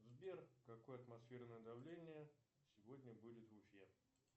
сбер какое атмосферное давление сегодня будет в уфе